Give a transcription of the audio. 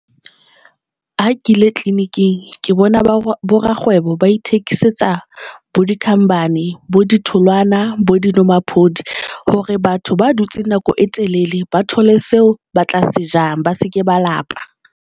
Ha ke ile tleliniking ke bona ba bo rakgwebo, ba ithekisetsa bo dikhambane bo ditholwana bo dinomaphodi hore batho ba dutseng nako e telel ba thole seo ba tla se jang ba seke ba lapa.